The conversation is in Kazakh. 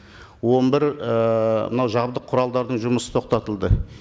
он бір ііі мынау жабдық құралдардың жұмысы тоқтатылды